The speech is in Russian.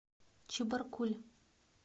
чебаркуль